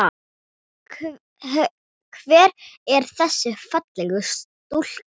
Hver er þessi fallega stúlka?